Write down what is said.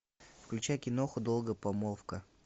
включай киноху долгая помолвка